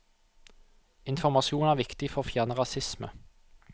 Informasjon er viktig for å fjerne rasisme.